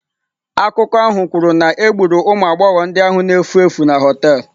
Akụkọ ahụ kwuru na egburu ụmụ agbọghọ ndị ahụ na-efu efu na họtel.